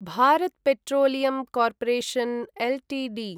Bharat Petroleum Corporation Ltd